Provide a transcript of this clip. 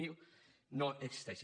zero no existeixin